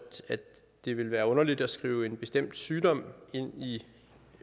at det vil være underligt at skrive en bestemt sygdom ind i